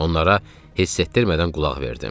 Onlara hiss etdirmədən qulaq verdim.